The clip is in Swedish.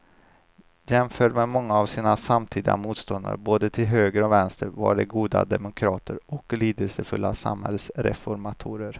Jämförda med många av sina samtida motståndare både till höger och vänster var de goda demokrater och lidelsefulla samhällsreformatorer.